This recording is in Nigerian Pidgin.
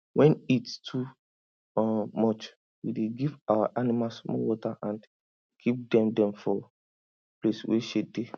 when heat too um much we dey give our animals more water and keep dem dem for place wey shade dey